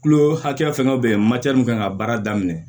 Kulo hakɛya fɛnkɛ bɛ yen ma kan ka baara daminɛ